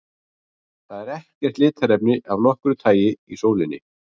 Það er ekkert litarefni af nokkru tagi í sólinni.